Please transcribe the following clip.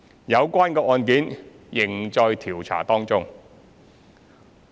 有關案件仍在調查中。